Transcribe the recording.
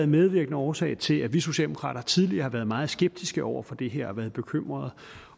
medvirkende årsag til at vi socialdemokrater tidligere har været meget skeptiske over for det her og været bekymrede